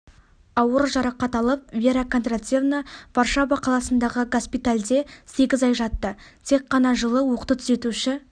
ауыр жарақат алып вера кондратьевна варшава қаласындағы госпитальде сегіз ай жатты тек ғана жылы оқты түзетуші